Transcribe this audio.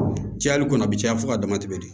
Cayali kɔnɔ a bi caya fo ka dama tɛmɛ de